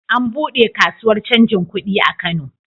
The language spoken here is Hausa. An buɗe kasuwar canjin kudi a Kano.